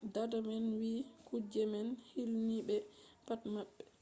dada man wi kuje man hilni ɓe pat maɓɓe.